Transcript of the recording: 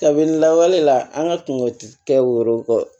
Kabini lawale la an ka kungo ti kɛ woro